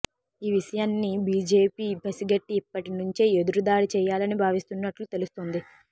ఈ విషయాన్ని బిజెపి పసిగట్టి ఇప్పటి నుంచే ఎదురు దాడి చేయాలనీ భావిస్తున్నట్లు తెలుస్తోంది